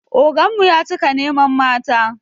Oganmu ya cika neman mata